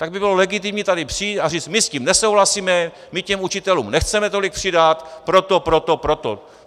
Tak by bylo legitimní tady přijít a říct: My s tím nesouhlasíme, my těm učitelům nechceme tolik přidat proto, proto, proto.